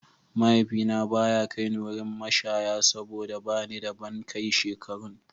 Mahaifina ba ya kai ni wurin mashaya saboda ba ni da ban kai shekarun.